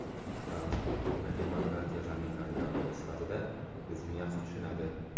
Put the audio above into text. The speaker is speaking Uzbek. Fransiya ko‘hna demokratiya zaminlaridan biri sifatida bizni yaxshi tushunadi.